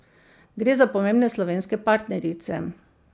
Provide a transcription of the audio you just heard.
Gre za pomembne slovenske partnerice.